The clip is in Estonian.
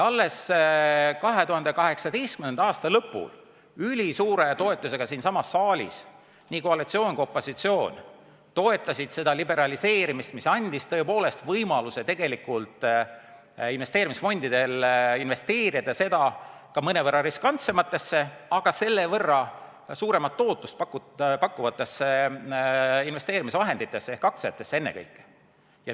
Alles 2018. aasta lõpul ülisuure toetusega siinsamas saalis nii koalitsioon kui ka opositsioon toetasid seda liberaliseerimist, mis andis tõepoolest võimaluse investeerimisfondidele investeerida seda raha ka mõnevõrra riskantsematesse, aga selle võrra suuremat tootlust pakkuvatesse investeerimisvahenditesse ehk aktsiatesse ennekõike.